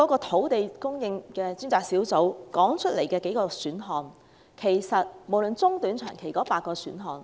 土地供應專責小組剛提出了短、中、長期的8個選項。